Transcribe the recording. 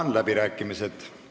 Avan läbirääkimised.